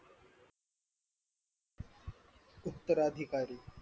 उत्तराधिकारी